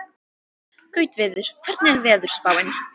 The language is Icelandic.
Gautviður, hvernig er veðurspáin?